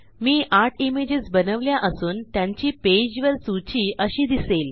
मी 8 images बनवल्या असून त्यांची पेजवर सूची अशी दिसेल